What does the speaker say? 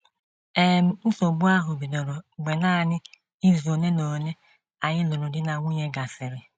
“ um Nsogbu ahụ bidoro mgbe nanị izu ole na ole anyị lụrụ di na nwunye gasịrị.